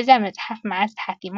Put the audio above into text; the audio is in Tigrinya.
።እዛ መፅሓፍ መዓዝ ትሓቲማ?